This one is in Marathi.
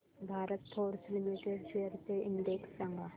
भारत फोर्ज लिमिटेड शेअर्स चा इंडेक्स सांगा